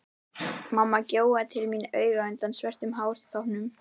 Mamma gjóaði til mín auga undan svörtum hártoppnum.